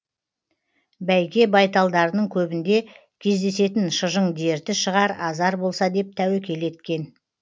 бәйге байталдарының көбінде кездесетін шыжың дерті шығар азар болса деп тәуекел еткен